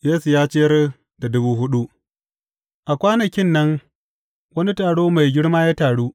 Yesu ya ciyar da dubu huɗu A kwanakin nan wani taro mai girma ya taru.